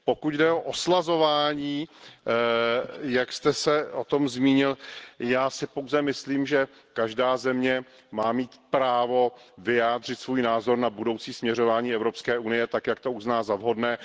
Pokud jde o oslazování, jak jste se o tom zmínil, já si pouze myslím, že každá země má mít právo vyjádřit svůj názor na budoucí směřování Evropské unie tak, jak to uzná za vhodné.